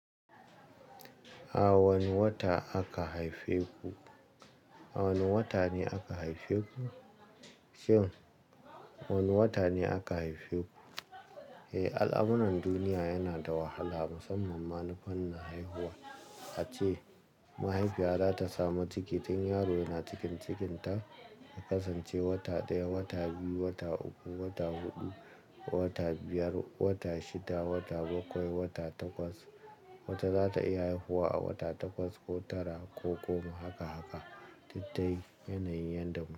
A wane wata aka haife ku? A wane wata ne aka haife ku? Kim, wane wata ne aka haife ku? Eh, al'amuran duniya yana da wahala musamman ma na fannin haihuwa. Ace mahaifiya za ta samu tikitin yaro yana cikin cikinta, ka kasance wata ɗaya, wata biyu, wata uku, wata huɗu, wata biyar, wata shida, wata bakwai, wata takwas. Wata za ta iya haihuwa a wata takwas ko tara ko goma, haka haka. Tattai yanayin yanda mu.